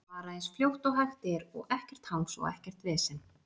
Svara eins fljótt og hægt er og ekkert hangs og ekkert vesen?